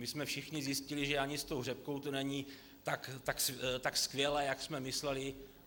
My jsme všichni zjistili, že ani s tou řepkou to není tak skvělé, jak jsme mysleli.